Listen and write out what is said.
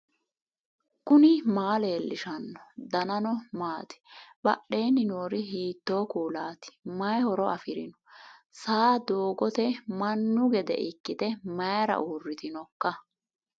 knuni maa leellishanno ? danano maati ? badheenni noori hiitto kuulaati ? mayi horo afirino ? saa doogote mannu gede ikkite mayra uurritinoika